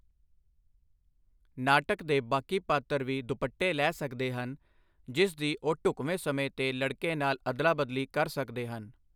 ਨਾਟਕ ਦੇ ਬਾਕੀ ਪਾਤਰ ਵੀ ਦੁਪੱਟੇ ਲੈ ਸਕਦੇ ਹਨ, ਜਿਸ ਦੀ ਉਹ ਢੁਕਵੇਂ ਸਮੇਂ ਤੇ ਲੜਕੇ ਨਾਲ ਅਦਲਾਬਦਲੀ ਕਰ ਸਕਦੇ ਹਨ।